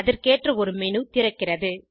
அதற்கேற்ற ஒரு மேனு திறக்கிறது